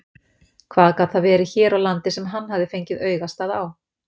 Hvað gat það verið hér á landi sem hann hafði fengið augastað á?